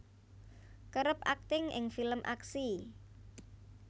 kerep akting ing film aksi